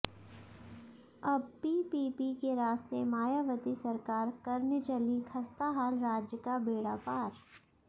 अब पीपीपी के रास्ते मायावती सरकार करने चलीं खस्ताहाल राज्य का बेड़ा पार